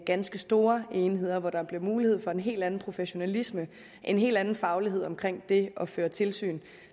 ganske store enheder hvor der bliver mulighed for en hel anden professionalisme en hel anden faglighed omkring det at føre tilsyn